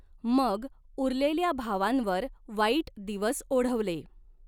मग उरलेल्या भावांवर वाईट दिवस ओढवले.